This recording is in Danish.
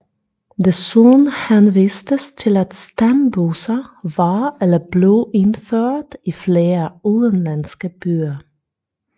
Desuden henvistes til at stambusser var eller blev indført i flere udenlandske byer